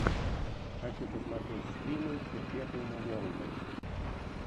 хочу посмотреть стримы перпетуума ворлда